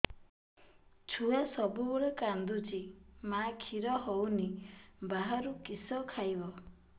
ଛୁଆ ସବୁବେଳେ କାନ୍ଦୁଚି ମା ଖିର ହଉନି ବାହାରୁ କିଷ ଖାଇବ